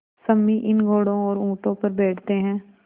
सम्मी इन घोड़ों और ऊँटों पर बैठते हैं